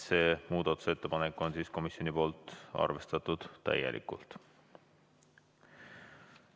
See muudatusettepanek on komisjoni poolt arvestatud täielikult.